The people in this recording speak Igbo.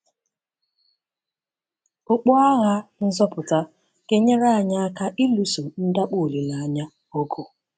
okpu agha nzọpụta ga-enyere anyị aka ịlụso ndakpọ olileanya ọgụ